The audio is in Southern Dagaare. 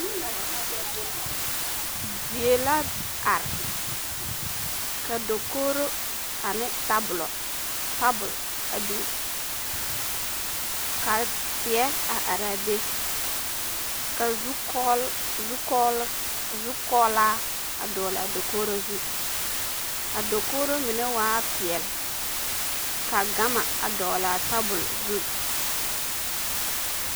Die la are ka dakogiro ane tabolo, tabol a biŋ ka teɛ a araa be ka zukɔɔl, zukɔɔl, zukɔɔlaa dɔgelaa dakogiri zu, a dakogiro mine waa peɛle, ka gama a dɔgelaa tabol zu.